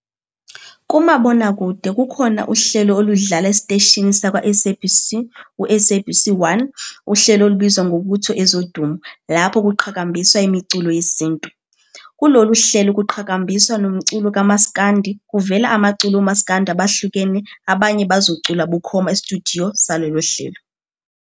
Kumabonakude kukhona uhelo oludlala esiteshini sakwa-SABC u-SABC 1 uhlelo olubizwa ngokuthi Ezodumo lapho kuqhakambiswa imiculo yesintu. Kulelu hlelo kuqahakambiswa nomculo kamaskandi kuvela amaculo omasikandi abahlukene abanye bazocula bukhoma estudiyo salolu hlelo.